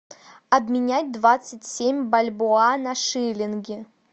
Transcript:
обменять двадцать семь бальбоа на шиллинги